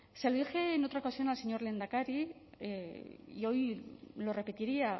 se lo dije en otra ocasión al señor lehendakari y hoy lo repetiría